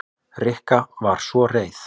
Rikka var svo reið.